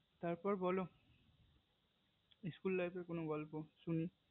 তার পর বোলো school life এর কোনো গল্প শুনি